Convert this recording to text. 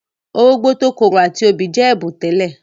Orógbó tó korò àti obì jẹ́ ẹ̀bùn tẹ́lẹ̀.